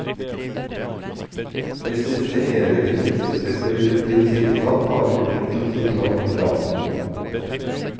Hvis disse evige prinsipper blir tilsidesatt, har vi plikt til å si klart ifra.